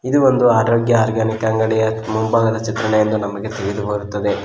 ಇದೊಂದು ಆರೋಗ್ಯ ಆರ್ಗೆನಿಕ್ ಅಂಗಡಿಯ ಮುಂಭಾಗದ ಚಿತ್ರಣವೆಂದು ನಮಗೆ ತಿಳಿದು ಬರುತ್ತದೆ.